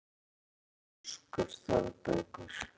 Af hverju ertu svona þrjóskur, Þorbergur?